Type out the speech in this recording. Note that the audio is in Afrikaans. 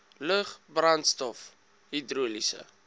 lug brandstof hidroliese